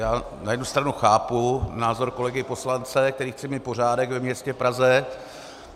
Já na jednu stranu chápu názor kolegy poslance, který chce mít pořádek ve městě Praze.